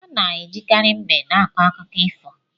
Ana ejikari mbe na akọ akụkọ ifo.